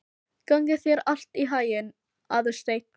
Gangi þér allt í haginn, Aðalsteinn.